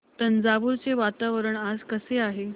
तंजावुर चे वातावरण आज कसे आहे